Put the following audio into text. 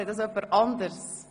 Sieht das jemand anders?